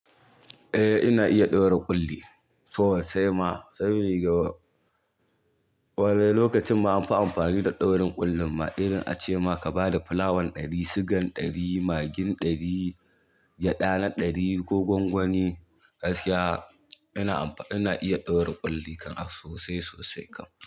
Eh ina iya ɗaura ƙulli sosai ma saboda lokacin ba an fi amfani da ɗaurin ƙullin ba. Irin acema ka bada fulawan ɗari, sigan ɗari, magin ɗari, gyada na ɗari ko gwangwani gaskiya ina iya ɗaura ƙulli sosai sosai kam.